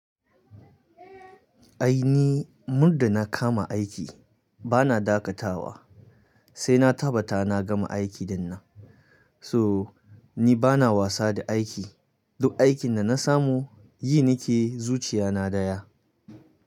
Ai ni muddin na kama aiki bana dakatawa. Sai na tabbata na gama aiki dinnan. So ni bana wasa da aiki, duk aikin da na samu yi nake da zuciya na daya.